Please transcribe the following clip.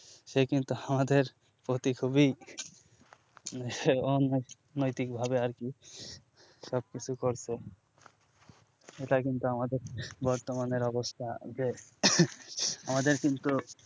সে কিন্তু আমাদের প্রতি খুবই অন অনৈতিক ভাবে আরকি সবকিছু করছে এটা কিন্তু আমাদের বর্তমানের অবস্থা যে আমাদের কিন্তু